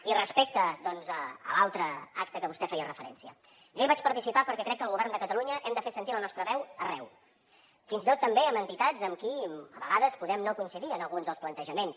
i respecte doncs a l’altre acte a que vostè feia referència jo hi vaig participar perquè crec que el govern de catalunya hem de fer sentir la nostra veu arreu fins i tot també en entitats amb qui a vegades podem no coincidir en alguns dels plantejaments